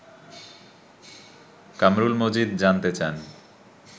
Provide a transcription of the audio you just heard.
কামরুল মজিদ জানতে চান